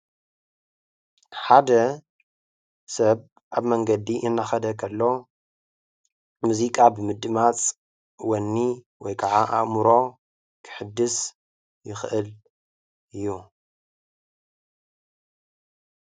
ሓደ ሰብ ኣብ መንገዲ እናኸደ ከሎ ሙዚቃ ብምድማፅ ወኒ ወይ ከዓ ኣእምሮ ከሕድስ ይኽእል እዩ፡፡